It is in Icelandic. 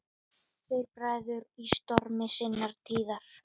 Tveir bræður í stormi sinnar tíðar.